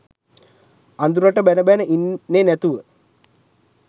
අඳුරට බැන බැන ඉන්නෙ නැතුව